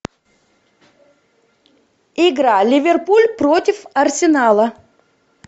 игра ливерпуль против арсенала